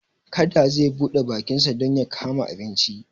Kada zai buɗe bakinsa don ya kama abinci.